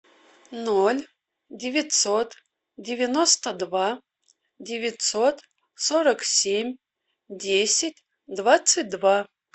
ноль девятьсот девяносто два девятьсот сорок семь десять двадцать два